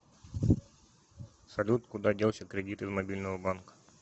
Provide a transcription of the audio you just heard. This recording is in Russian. салют куда делся кредит из мобильного банка